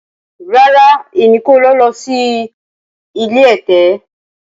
Rara, Emi ko lọ si ile ẹtẹ.